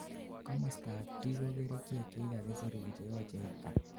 komostab D ko kerichek chekakisirun cheyochei itar